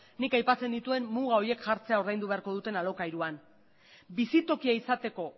nik aipatzen nituen muga horiek jartzea ordaindu beharko duten alokairuan bizitokia izateko